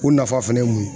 O nafa fɛnɛ ye mun ye